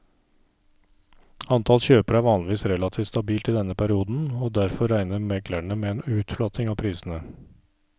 Antall kjøpere er vanligvis relativt stabilt i denne perioden, og derfor regner meglerne med en utflating av prisene.